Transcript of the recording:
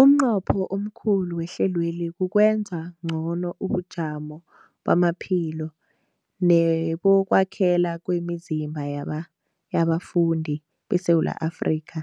Umnqopho omkhulu wehlelweli kukwenza ngcono ubujamo bamaphilo nebokwakhela kwemizimba yabafundi beSewula Afrika